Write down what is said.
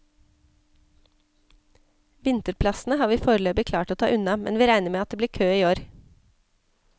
Vinterplassene har vi foreløpig klart å ta unna, men vi regner med at det blir kø i år.